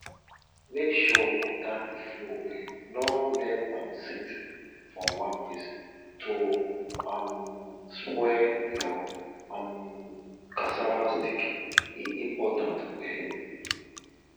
make sure water dey flow well no let am sit for one place to um spoil your um cassava stick e important well